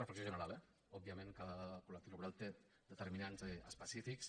reflexió general eh òbviament cada col·lectiu laboral té determinants específics